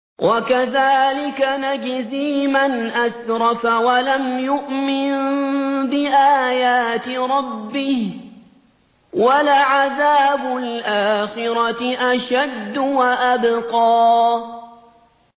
وَكَذَٰلِكَ نَجْزِي مَنْ أَسْرَفَ وَلَمْ يُؤْمِن بِآيَاتِ رَبِّهِ ۚ وَلَعَذَابُ الْآخِرَةِ أَشَدُّ وَأَبْقَىٰ